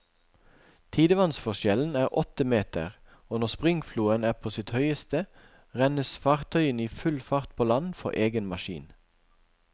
Tidevannsforskjellen er åtte meter, og når springfloen er på sitt høyeste, rennes fartøyene i full fart på land for egen maskin.